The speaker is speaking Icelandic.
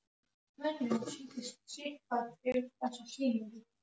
Tókst fljótlega með okkur góð vinátta og náið samstarf.